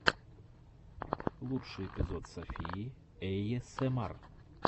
лучший эпизод софии эйэсэмар